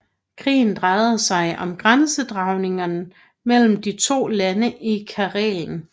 Krigen drejede sig om grænsedragningen mellem de to lande i Karelen